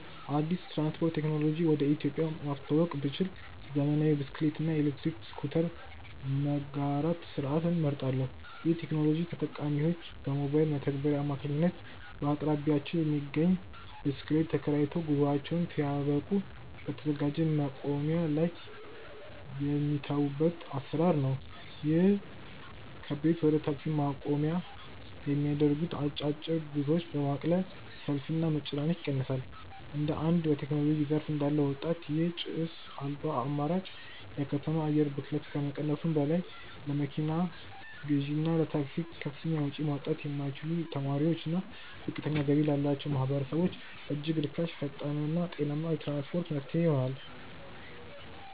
አዲስ የትራንስፖርት ቴክኖሎጂ ወደ ኢትዮጵያ ማስተዋወቅ ብችል፣ ዘመናዊ የብስክሌት እና የኤሌክትሪክ ስኩተር መጋራት ስርዓትን እመርጣለሁ። ይህ ቴክኖሎጂ ተጠቃሚዎች በሞባይል መተግበሪያ አማካኝነት በአቅራቢያቸው የሚገኝን ብስክሌት ተከራይተው፣ ጉዟቸውን ሲያበቁ በተዘጋጀ ማቆሚያ ላይ የሚተዉበት አሰራር ነው። ይህም ከቤት ወደ ታክሲ ማቆሚያ የሚደረጉ አጫጭር ጉዞዎችን በማቅለል ሰልፍንና መጨናነቅን ይቀንሳል። እንደ አንድ በቴክኖሎጂ ዘርፍ እንዳለ ወጣት፣ ይህ ጭስ አልባ አማራጭ የከተማ አየር ብክለትን ከመቀነሱም በላይ፣ ለመኪና ግዢና ለታክሲ ከፍተኛ ወጪ ማውጣት ለማይችሉ ተማሪዎችና ዝቅተኛ ገቢ ላላቸው ማህበረሰቦች እጅግ ርካሽ፣ ፈጣንና ጤናማ የትራንስፖርት መፍትሄ ይሆናል።